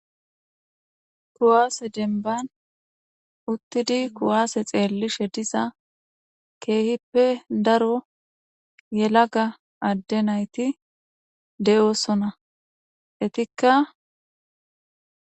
Ku'ase denibane issippe gididi eqqidi dizayssa besishin ha asatikka kawo oosanchchata gidishin izetappe gede guye baggara kaameynne meedosati dembbazan beetishe dizayssi qonccekko.